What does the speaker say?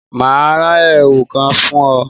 Mà á ran èwù kan fún ọ́